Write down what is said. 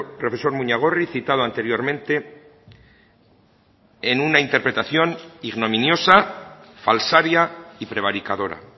profesor muñagorri citado anteriormente en una interpretación ignominiosa falsaria y prevaricadora